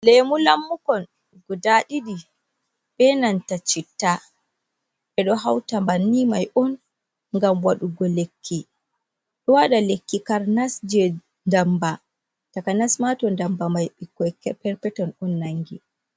Lemu lammukon guda ɗiɗi, benanta citta. ɓeɗo hauta banni mai on ngam wadugo lekki ɗo wada lekki karnas je ndamba takanasma to ndamba mai ɓikkoi perpeton on nangi.